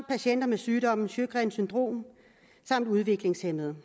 patienter med sygdommen sjøgrens syndrom og om udviklingshæmmede